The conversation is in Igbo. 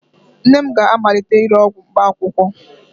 Nne m ga-amalite ire ọgwụ mkpaakwụkwọ